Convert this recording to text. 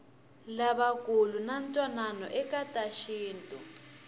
lavakulu vanatwanano ekatashintu